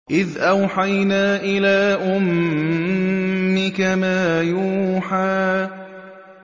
إِذْ أَوْحَيْنَا إِلَىٰ أُمِّكَ مَا يُوحَىٰ